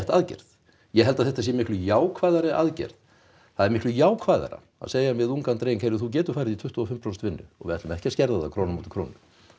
aðgerð ég held að þetta sé miklu jákvæðari aðgerð það er miklu jákvæðara að segja við ungan dreng heyrðu þú getur farið í tuttugu og fimm prósent vinnu og við ætlum ekki að skerða það krónu á móti krónu